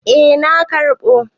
Eh na karɓo.